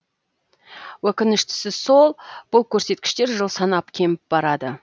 өкініштісі сол бұл көрсеткіштер жыл санап кеміп барады